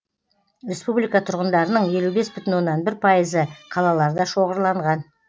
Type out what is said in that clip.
республика тұрғындарының елу бес бүтін оннан бір пайызы қалаларда шоғырланған